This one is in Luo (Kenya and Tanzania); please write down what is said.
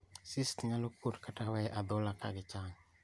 Cysts nyalo kuot kata we adhola kagichango